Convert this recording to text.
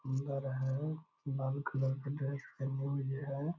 सुन्दर है गुलाबी कलर का ड्रेस पहनी हुई है।